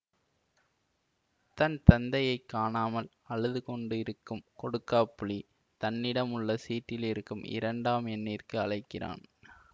தன் தந்தையை காணாமல் அழுது கொண்டு இருக்கும் கொடுக்காப்புளி தன்னிடம் உள்ள சீட்டிலிருக்கும் இரண்டாம் எண்ணிற்க்கு அழைக்கிறான்